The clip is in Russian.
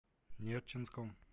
нерчинском